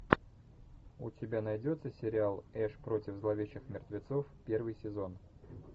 у тебя найдется сериал эш против зловещих мертвецов первый сезон